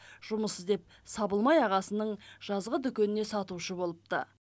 жұмыс іздеп сабылмай ағасының жазғы дүкеніне сатушы болыпты